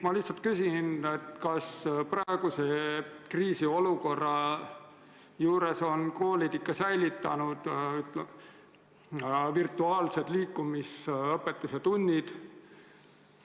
Ma lihtsalt küsin, kas praeguses kriisiolukorras on koolid ikka säilitanud virtuaalsed liikumisõpetuse tunnid.